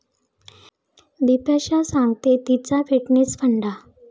बिपाशा सांगतेय तिचा फिटनेस फंडा